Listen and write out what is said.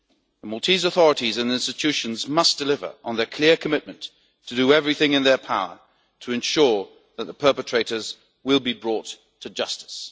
The Maltese authorities and institutions must deliver on their clear commitment to do everything in their power to ensure that the perpetrators will be brought to justice.